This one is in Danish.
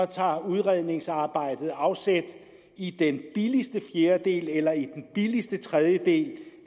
tager udredningsarbejdet afsæt i den billigste fjerdedel eller i den billigste tredjedel